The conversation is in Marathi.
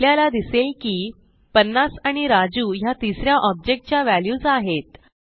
आपल्याला दिसेल की 50 आणि राजू ह्या तिस या ऑब्जेक्ट च्या व्हॅल्यूज आहेत